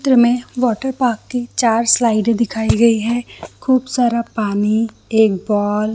चित्र में water park की चार स्लाइडे दिखाई गयी है खूब सारा पानी एक बॉल --